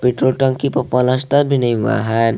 Petrol टंकी पर पलस्तर भी नहीं हुआ है।